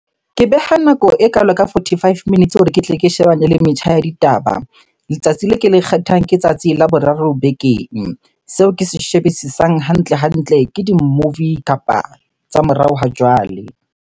Ke beha nako ekalo ka forty-five minutes hore ke tle ke shebane le metjha ya ditaba. Letsatsi le ke le kgethang, ke tsatsi la boraro bekeng. Seo ke se shebisisang hantle-hantle, ke di-movie kapa tsa morao ha jwale.